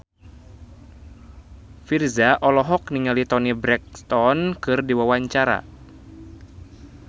Virzha olohok ningali Toni Brexton keur diwawancara